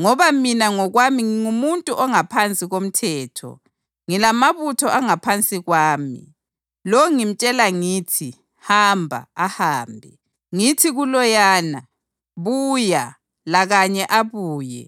Ngoba mina ngokwami ngingumuntu ongaphansi komthetho, ngilamabutho angaphansi kwami. Lo ngimtshela ngithi, ‘Hamba,’ ahambe; ngithi kuloyana, ‘Buya,’ lakanye abuye.